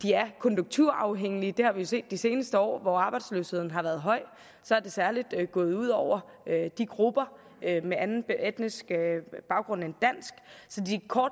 er konjunkturafhængige det har vi jo set de seneste år hvor arbejdsløsheden har været høj og så er det særlig gået ud over grupper med anden etnisk baggrund end dansk